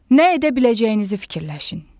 Nə edə biləcəyinizi fikirləşin.